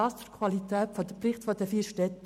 Dies zur Qualität der Berichte der vier Städte.